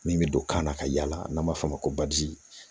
Min bɛ don kan na ka yala n'an b'a fɔ o ma ko